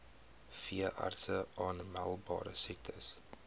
veeartse aanmeldbare siektes